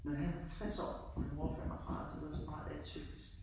Nej han 60 år og min mor 35 så det var sådan meget atypisk